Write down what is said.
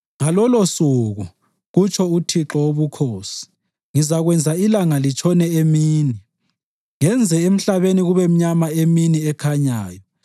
Ngalolosuku,” kutsho uThixo Wobukhosi, “ngizakwenza ilanga litshone emini, ngenze emhlabeni kube mnyama emini ekhanyayo.